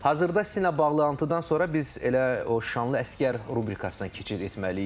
Hazırda sizinlə bağlantıdan sonra biz elə o şanlı əsgər rubrikasına keçid etməliydik.